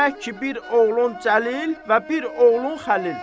Demək ki, bir oğlun Cəlil və bir oğlun Xəlil.